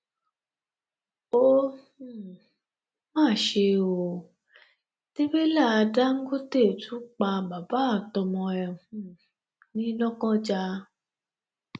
ó um mà ṣe ò tẹrẹlá dàńgọtẹ tún pa bàbá àtọmọ ẹ um ní lọkọjá